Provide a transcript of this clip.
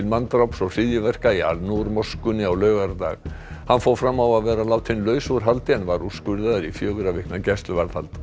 manndráps og hryðjuverka í al moskunni á laugardag hann fór fram á að vera látinn laus úr haldi en var úrskurðaður í fjögurra vikna gæsluvarðhald